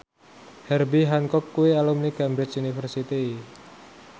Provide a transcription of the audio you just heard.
Herbie Hancock kuwi alumni Cambridge University